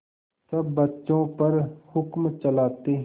सब बच्चों पर हुक्म चलाते